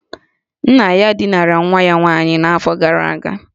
Nna ya dinara nwa ya nwaanyị n'afọ gara aga